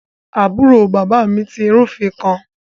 Aburo baba mi ti rufin kan